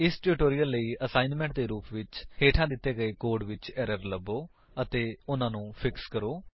ਇਸ ਟਿਊਟੋਰਿਅਲ ਲਈ ਆਸਾਇਨਮੇੰਟ ਦੇ ਰੁਪ ਵਿੱਚ ਹੇਠਾਂ ਦਿੱਤੇ ਗਏ ਕੋਡ ਵਿੱਚ ਏਰਰ ਲਭੋ ਅਤੇ ਉਨ੍ਹਾਂਨੂੰ ਫਿਕਸ ਕਰੋ